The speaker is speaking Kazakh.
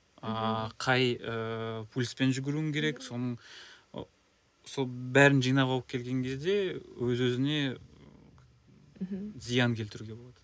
ааа қай ыыы пульспен жүгіруің керек соның ы сол бәрін жинап алып келген кезде өз өзіне мхм зиян келтіруге болады